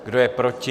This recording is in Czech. Kdo je proti?